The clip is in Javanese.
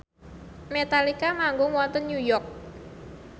Metallica manggung wonten New York